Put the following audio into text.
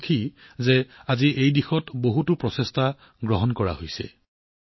মই সুখী যে আজি এই দিশত বহু প্ৰচেষ্টা হাতত লৈছে